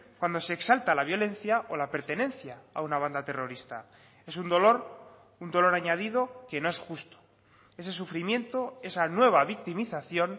cuando se exalta la violencia o la pertenencia a una banda terrorista es un dolor un dolor añadido que no es justo ese sufrimiento esa nueva victimización